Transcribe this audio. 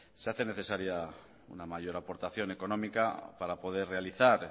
se hace necesaria una mayor aportación económica para poder realizar